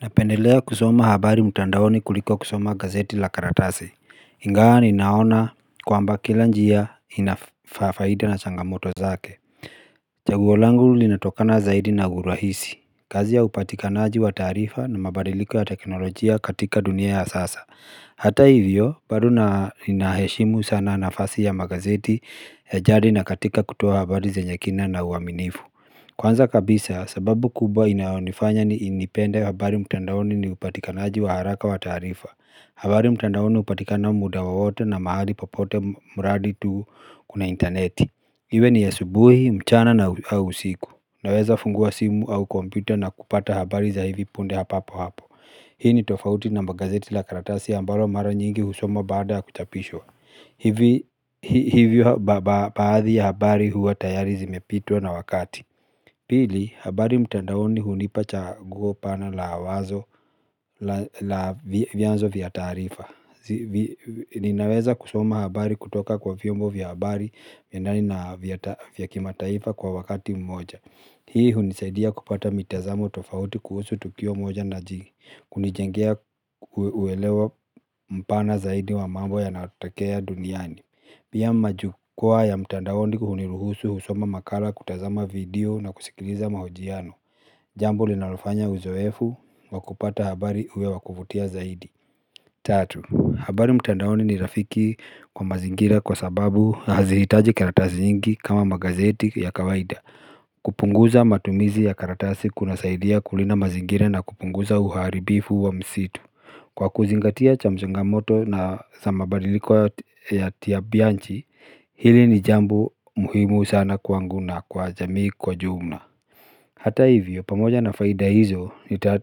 Napendelea kusoma habari mtandaoni kuliko kusoma gazeti la karatasi, ingawa ninaona kwamba kila njia inafaida na changamoto zake. Chaguo langu linatokana zaidi na guruhisi, kazi ya upatikanaji wa tarifa na mabadiliko ya teknolojia katika dunia ya sasa. Hata hivyo, bado inaheshimu sana nafasi ya magazeti ya jari na katika kutuwa habari za nyekina na uaminifu. Kwanza kabisa, sababu kubwa inaonifanya niinipende habari mtandaoni ni upatikanaji wa haraka wa tarifa habari mtandaoni upatika na muda wowote na mahali popote mradi tu kuna interneti Iwe ni asubuhi, mchana na usiku Naweza fungua simu au kompyuta na kupata habari za hivi punde papo hapo Hii ni tofauti na magazeti la karatasi ambalo mara nyingi husoma baada ya kuchapishwa Hivyo baadhi ya habari huwa tayari zimepitwa na wakati Pili, habari mtandawoni hunipa chaguo pana la wazo la vyanzo vya taarifa Ninaweza kusoma habari kutoka kwa viyombo vya habari ndani na viyakima taifa kwa wakati mmoja Hii hunisaidia kupata mitazamo tofauti kuhusu tukio mmoja na jingi Kunijengea uwelewa mpana zaidi wa mambo yanayotokea duniani Pia majukua ya mtandawoni kuhuniluhusu husoma makala kutazama video na kusikiliza mahojiano Jambu linalofanya uzoefu wakupata habari uwe wakuvutia zaidi Tatu, habari mtandaoni ni rafiki kwa mazingira kwa sababu na hazihitaji karatasi nyingi kama magazeti ya kawaida kupunguza matumizi ya karatasi kuna saidia kulina mazingira na kupunguza uharibifu wa msitu Kwa kuzingatia cha mazingamoto na za mabadiliko yatia bianchi, hili ni jambo muhimu sana kuanguna kwa jamii kwa jumla Hata hivyo, pamoja na faida hizo,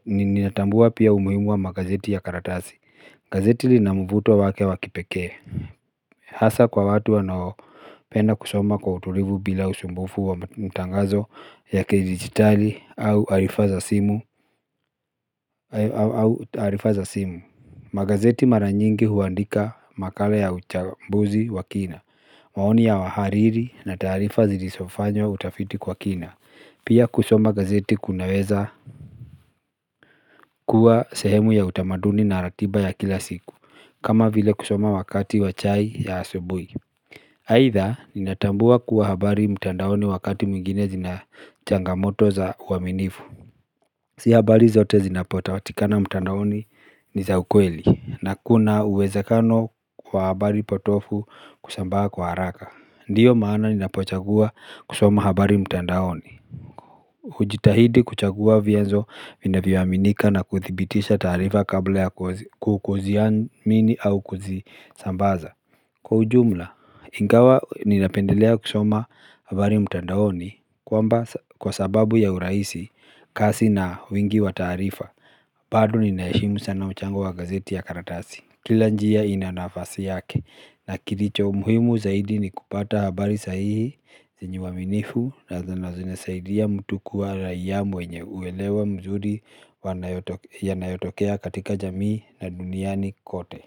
ninatambua pia umuhimu wa magazeti ya karatasi. Gazeti linam uvuto wake wakipeke Hasa kwa watu wanao penda kusoma kwa utulivu bila usumbufu wa mutangazo ya kidigitali au arifaza simu au taarifa za simu magazeti mara nyingi huandika makala ya uchambuzi wa kina maoni ya wahariri na tarifa zilisofanyo utafiti kwa kina Pia kusoma gazeti kunaweza kuwa sehemu ya utamaduni na ratiba ya kila siku kama vile kusoma wakati wa chai ya asobui aidha ninatambua kuwa habari mtandaoni wakati mwingine zina changamoto za uaminifu Si habari zote zinapota watikana mtandaoni ni za ukweli na kuna uwezekano kwa habari potovu kusambaa kwa haraka Ndiyo maana ninapochagua kusoma habari mtandaoni Ujitahidi kuchagua vienzo vina viwaminika na kuthibitisha tarifa kabla ya kukuziamini au kuzisambaza Kwa ujumla, ingawa ni napendelea kusoma habari mtandaoni kwamba kwa sababu ya urahisi kasi na wingi wa tarifa Badu ni naishimu sana uchango wa gazeti ya karatasi Kila njia inanafasi yake na kilicho umhimu zaidi ni kupata habari sahihi zinyuwa minifu na zanazine saidia mtu kuwa rayamu wenye uelewa mzuri yanayotokea katika jamii na duniani kote.